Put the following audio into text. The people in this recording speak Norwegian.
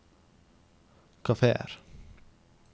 kafeer